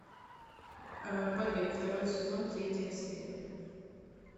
побег второй сезон третья серия